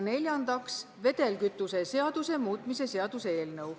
Neljandaks, vedelkütuse seaduse muutmise seaduse eelnõu.